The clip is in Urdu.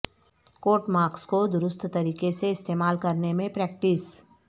کوٹ مارکس کو درست طریقے سے استعمال کرنے میں پریکٹس